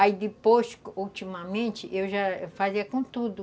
Aí depois, ultimamente, eu já fazia com tudo.